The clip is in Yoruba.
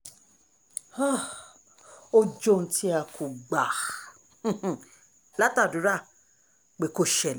um ó jẹ́ ohun tí a kò gbà um látàdúrà pé kó ṣẹlẹ̀